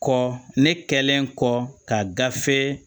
Kɔ ne kɛlen kɔ ka gafe